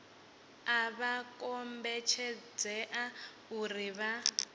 a vha kombetshedzei uri vha